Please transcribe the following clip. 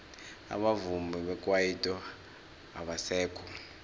abavumi bekwaito abasekho